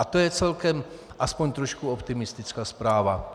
A to je celkem aspoň trošku optimistická zpráva.